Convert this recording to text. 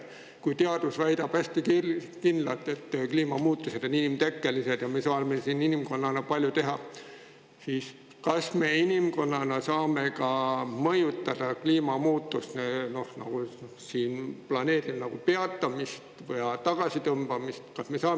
Kui teadus väidab kindlalt, et kliimamuutused on inimtekkelised ja inimkond saab siin palju ära teha, siis kas me inimkonnana saame planeedi kliimat mõjutada, et neid muutusi peatada või tagasi?